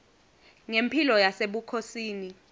ngemphilo yasebukhosini